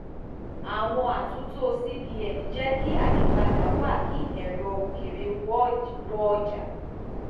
àwọn àtúntò cbn jẹ kí ayípadà wá kí ẹrọ òkèèrè wọ ọjà